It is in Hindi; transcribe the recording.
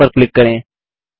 रिनेम पर क्लिक करें